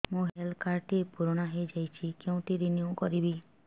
ମୋ health card ଟି ପୁରୁଣା ହେଇଯାଇଛି କେଉଁଠି ରିନିଉ କରିବି